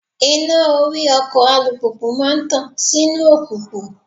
Iná orí ọkọ̀ alùpùpù máa ń tàn sínú òkùnkùn.